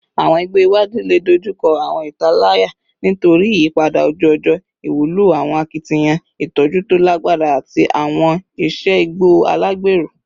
Awọn igbo iwaju le dojukọ awọn italaya nitori iyipada oju-ọjọ, iwulo awọn akitiyan itọju to lagbara ati awọn iṣe igbo alagbero